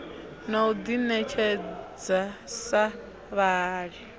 na u ḓiṋetshedza sa vhahali